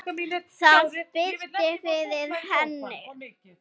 Það birti yfir henni.